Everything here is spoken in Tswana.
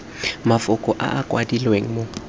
mafoko a a kwadilweng mo